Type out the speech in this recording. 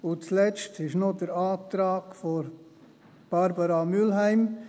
Und zuletzt ist noch der Antrag von Barbara Mühlheim: